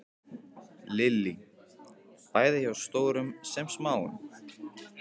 Lillý: Bæði hjá stórum sem smáum?